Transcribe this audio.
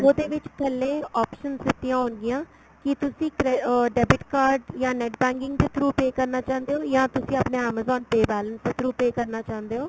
ਉਹਦੇ ਵਿੱਚ ਥੱਲੇ options ਦਿੱਤੀਆਂ ਹੋਣਗੀਆਂ ਕੀ ਤੁਸੀਂ ਕਰੇ ਅਹ debit card ਜਾਨ NET banking ਦੇ through pay ਕਰਨਾ ਚਾਉਂਦੇ ਓ ਜਾਨ ਤੁਸੀਂ ਆਪਣੇ amazon pay balance ਦੇ through pay ਕਰਨਾ ਚਾਹੁੰਦੇ ਓ